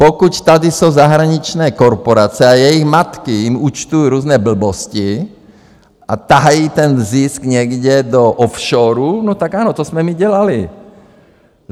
Pokud tady jsou zahraniční korporace a jejich matky jim účtují různé blbosti a tahají ten zisk někam do offshorů, no tak ano, to jsme my dělali.